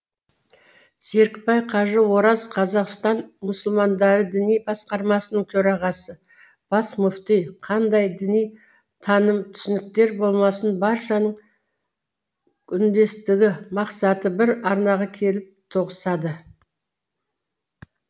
серікбай қажы ораз қазақстан мұсылмандары діни басқармасының төрағасы бас мүфти қандай діни таным түсініктер болмасын баршаның үндестігі мақсаты бір арнаға келіп тоғысады